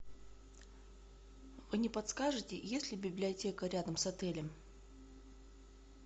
вы не подскажите есть ли библиотека рядом с отелем